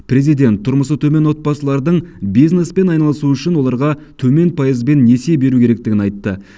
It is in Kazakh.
президент тұрмысы төмен отбасылардың бизнеспен айналысуы үшін оларға төмен пайызбен несие беру керектігін айтты